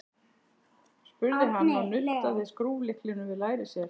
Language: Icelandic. spurði hann og nuddaði skrúflyklinum við læri sér.